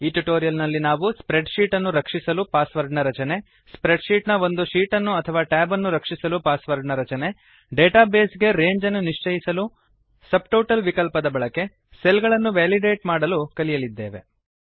ಈ ಟ್ಯುಟೋರಿಯಲ್ ನಲ್ಲಿ ನಾವು ಸ್ಪ್ರೆಡ್ ಶೀಟ್ ಅನ್ನು ರಕ್ಷಿಸಲು ಪಾಸ್ ವರ್ಡ್ ನ ರಚನೆ ಸ್ಪ್ರೆಡ್ ಶೀಟ್ ನ ಒಂದು ಶೀಟ್ ಅನ್ನು ಅಥವಾ ಟ್ಯಾಬ್ ಅನ್ನು ರಕ್ಷಿಸಲು ಪಾಸ್ ವರ್ಡ್ ನ ರಚನೆ ಡಾಟಾ ಬೇಸ್ ಗೆ ರೇಂಜ್ ಅನ್ನು ನಿಶ್ಚಯಿಸಲು ಸಬ್ಟೋಟಲ್ ವಿಕಲ್ಪದ ಬಳಕೆ ಸೆಲ್ ಗಳನ್ನು ವೇಲಿಡೇಟ್ ಮಾಡಲು ಕಲಿಯಲಿದ್ದೇವೆ